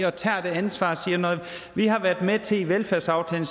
og tager det ansvar og når vi har været med til i velfærdsaftalen